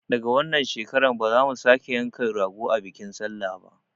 Daga wannan shekarar ba za mu sake yanka rago a bikin sallah ba